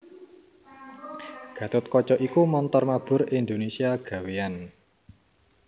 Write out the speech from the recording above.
Gatotkaca iku montor mabur Indonésia gawéyan